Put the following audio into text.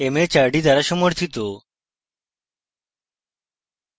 এই বিষয়ে বিস্তারিত তথ্য এই link প্রাপ্তিসাধ্য